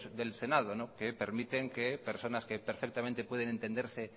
del senado que permiten que personas que perfectamente pueden entenderse